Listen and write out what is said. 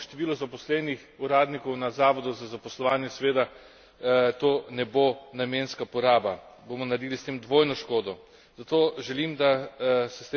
Če se bo povečalo, denimo, število zaposlenih uradnikov na zavodu za zaposlovanje, seveda to ne bo namenska poraba, bomo naredili s tem dvojno škodo.